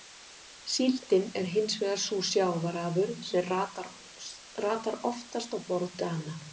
Síldin er hins vegar sú sjávarafurð sem ratar oftast á borð Dana.